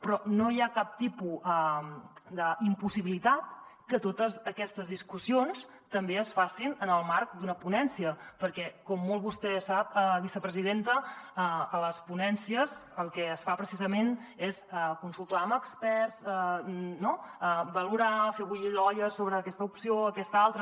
però no hi ha cap tipus d’impossibilitat que totes aquestes discussions també es facin en el marc d’una ponència perquè com vostè molt bé sap vicepresidenta a les ponències el que es fa precisament és consultar amb experts valorar fer bullir l’olla sobre aquesta opció aquesta altra